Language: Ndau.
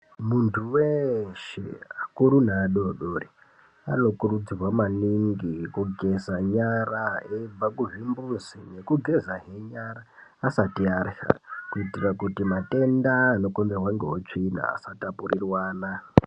Muntu weshe akuru neadodoriwo anokurudzirwa maningi kugeza nyara aibva kuzvimbuzi nekugezahe nyara asati arya kuitira kuti matenda anokonzerwa ngeutsvina asatapurirwana.